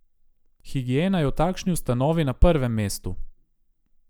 Higiena je v takšni ustanovi na prvem mestu.